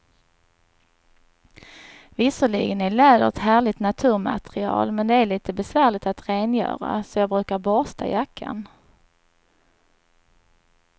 Visserligen är läder ett härligt naturmaterial, men det är lite besvärligt att rengöra, så jag brukar borsta jackan.